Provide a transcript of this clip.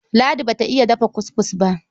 Ladi ba ta iy dafa kuskus ba.